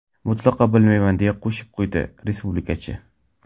Mutlaqo bilmayman”, deya qo‘shib qo‘ydi respublikachi.